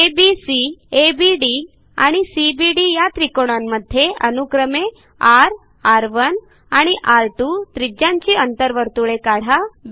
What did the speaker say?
ABC ABD आणि CBD या त्रिकोणांमध्ये अनुक्रमे र र1 आणि र2 त्रिज्यांची अंतर्वर्तुळे काढा